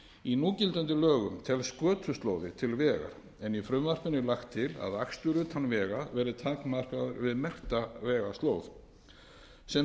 í núgildandi lögum telst götuslóði til vegar en í frumvarpinu er lagt til að akstur utan vega verði takmarkaður við merkta vegslóð sem